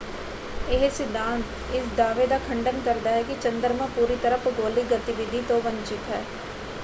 ਇਹ ਸਿਧਾਂਤ ਇਸ ਦਾਅਵੇ ਦਾ ਖੰਡਨ ਕਰਦਾ ਹੈ ਕਿ ਚੰਦਰਮਾ ਪੂਰੀ ਤਰ੍ਹਾਂ ਭੂਗੋਲਿਕ ਗਤੀਵਿਧੀ ਤੋਂ ਵੰਚਿਤ ਹੈ।